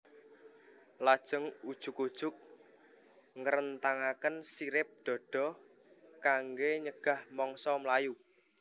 Lajeng ujug ujug ngrentangaken sirip dada kanggé nyegah mangsa mlayu